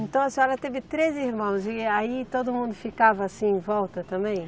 Então a senhora teve treze irmãos e aí todo mundo ficava assim em volta também?